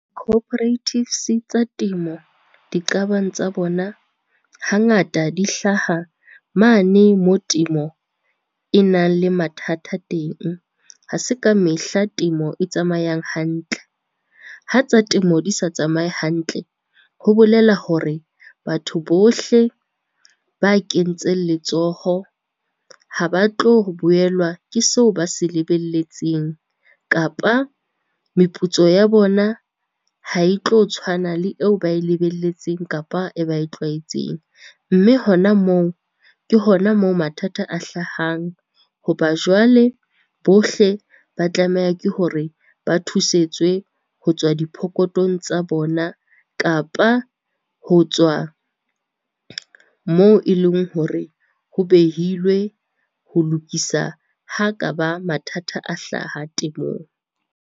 Cooperatives tsa temo, diqabang tsa bona hangata di hlaha mane moo temo e nang le mathata teng, ha se ka mehla temo e tsamayang hantle. Ha tsa temo di sa tsamaye hantle, ho bolela hore batho bohle ba kentseng letsoho ha ba tlo boelwa ke seo ba se lebelletseng kapa meputso ya bona ha e tlo tshwana le eo ba e lebelletseng, kapa e ba e tlwaetseng. Mme hona moo, ke hona moo mathata a hlahang ho ba jwale bohle ba tlameha ke hore ba thusetswe ho tswa diphokothong tsa bona, kapa ho tswa moo e leng hore ho behilwe ho lokisa ha ka ba mathata a hlaha temong.